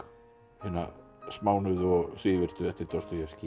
hina smánuðu og svívirtu eftir